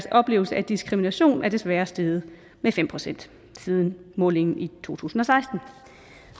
oplevelse af diskrimination er desværre steget med fem procent siden målingen i to tusind og seksten